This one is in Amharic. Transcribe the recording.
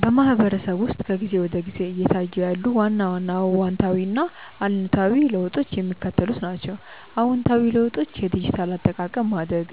በማህበረሰቡ ውስጥ ከጊዜ ወደ ጊዜ እየታዩ ያሉ ዋና ዋና አዎንታዊና አሉታዊ ለውጦች የሚከተሉት ናቸው፦ አዎንታዊ ለውጦች የዲጂታል አጠቃቀም ማደግ፦